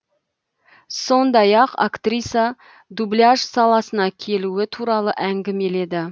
сондай ақ актриса дубляж саласына келуі туралы әңгімеледі